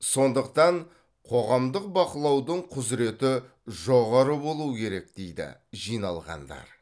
сондықтан қоғамдық бақылаудың құзыреті жоғары болу керек дейді жиналғандар